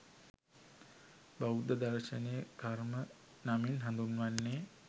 බෞද්ධ දර්ශනය කර්ම නමින් හඳුන්වන්නේ